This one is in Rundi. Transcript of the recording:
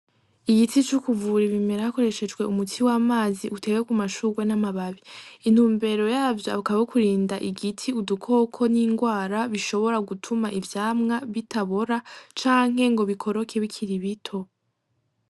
Igiti co kuvura ibimera hakoreshejwe umuti w'amazi utewe k'umashurwe n'amababi. Intumbero yavyo, akaba ari ukurinda igiti udukoko n'ingwara bishobora gutuma ivyamwa bitabora canke ngo bikoroke bikiri bito.